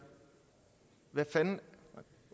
hvad fanden